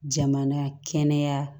Jamana kɛnɛya